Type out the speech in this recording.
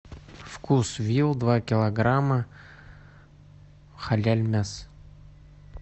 вкусвилл два килограмма халяль мясо